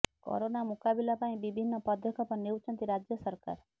corona ମୁକାବିଲା ପାଇଁ ବିଭିନ୍ନ ପଦକ୍ଷେପ ନେଉଛନ୍ତି ରାଜ୍ୟ ସରକାର